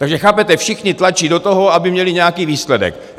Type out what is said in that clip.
Takže chápete, všichni tlačí do toho, aby měli nějaký výsledek.